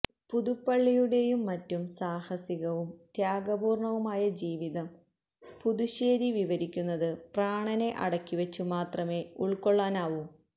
പുതുപ്പള്ളിയുടെയും മറ്റും സാഹസികവും ത്യാഗപൂര്ണവുമായ ജീവിതം പുതുശ്ശേരി വിവരിക്കുന്നത് പ്രാണനെ അടക്കിവച്ചുമാത്രമേ ഉള്ക്കൊള്ളാനാവു